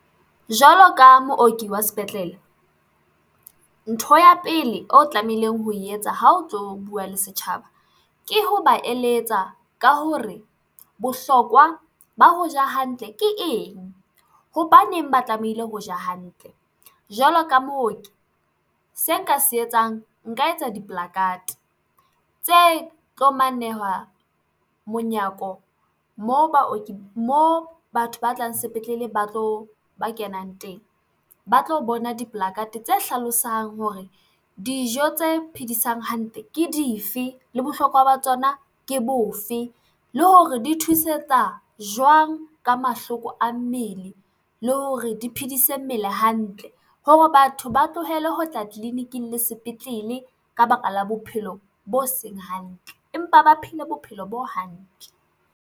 Jwalo ka mooki wa sepetlele, ntho ya pele o tlamehileng ho e etsa ha o tlo buwa le setjhaba ke ho ba eletsa ka hore bohlokwa ba ho ja hantle ke eng, hobaneng ba tlamehile ho ja hantle jwalo ka mooki se nka se etsang, nka etsa di-placard tse tlo monyako mo baoki, mo batho ba tlang sepetlele, ba tlo ba kenang teng, ba tlo bona di-placard tse hlalosang hore dijo tse phedisang hantle ke dife, le bohlokwa ba tsona ke bofe, le hore di thusetsa jwang ka mahloko a mmele, le hore di phedise mmele hantle hore batho ba tlohele ho tla tleleniking le sepetlele ka baka la bophelo bo seng hantle empa ba phele bophelo bo hantle.